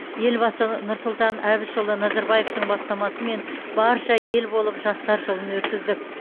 елбасы нұрсұлтан әбішұлы назарбаевтың бастамасымен барша ел болып жастар жылын өткіздік